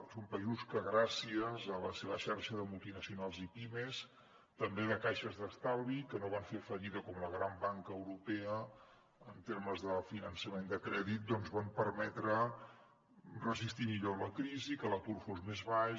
són països que gràcies a la seva xarxa de multinacionals i pimes també de caixes d’estalvi que no van fer fallida com la gran banca europea en termes de finançament de crèdit doncs van permetre resistir millor la crisi que l’atur fos més baix